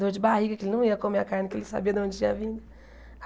Dor de barriga, que ele não ia comer a carne que ele sabia de onde tinha vindo.